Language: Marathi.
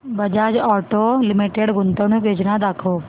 बजाज ऑटो लिमिटेड गुंतवणूक योजना दाखव